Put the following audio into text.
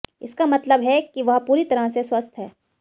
इसका मतलब है कि वह पूरी तरह से स्वस्थ हैं